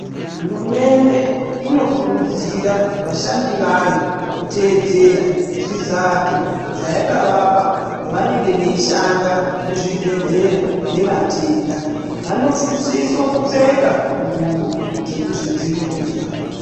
Hurumende inokurudzira vashandi vayo kuteedzera zvizato zvaualavapa pavanenge veishanda muzvibhedhlera nevatenda vanosise kupfeka ngubo dzekuzvidzivirira.